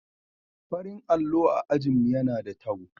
Farin allo a ajin mu yana da tabo.